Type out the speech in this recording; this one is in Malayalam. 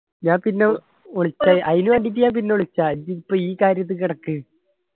ഞാൻ പിന്ന വിളിക്കെ അയിന് വാണ്ടീറ്റ് ഞാൻ പിന്നാ വിളിക്ക ഇജ്ജ് ഇപ്പൊ ഈ കാര്യത്തി കെടക്ക്